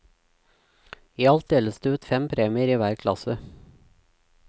I alt deles det ut fem premier i hver klasse.